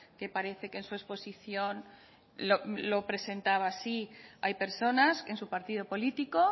que parece que en su exposición lo presentaba así hay personas en su partido político